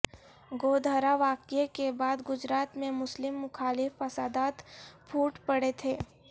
گودھرا واقعے کے بعد گجرات میں مسلم مخالف فسادات پھوٹ پڑے تھے